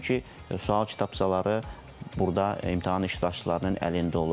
Çünki sual kitabçaları burda imtahan iştirakçılarının əlində olur.